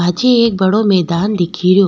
पाछे एक बड़ो मैदान दिखे रियो।